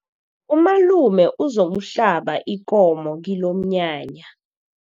Umalume uzokuhlaba ikomo kilomnyanya.